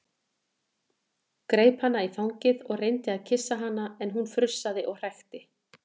Greip hana í fangið og reyndi að kyssa hana en hún frussaði og hrækti.